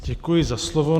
Děkuji za slovo.